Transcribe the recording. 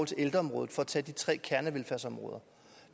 til ældreområdet for at tage de tre kernevelfærdsområder